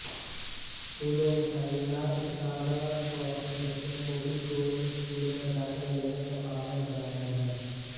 سکولوں میںتعینات اساتذہ کو اپنے بچوں کوبھی گورنمٹ سکولوں میںداخلہ لینے کا پابند بنایا جائے